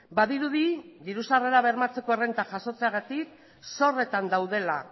badirudi diru sarrera bermatzeko errenta jasotzeagatik zorretan daudela